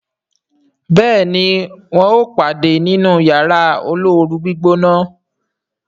béèni wón wón pade nínú Yàrá olóoru-gbígbóná.